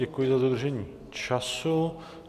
Děkuji za dodržení času.